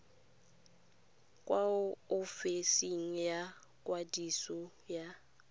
kwa ofising ya ikwadiso ya